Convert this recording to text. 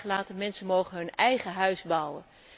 Het is vrij gelaten, mensen mogen hun eigen huis bouwen.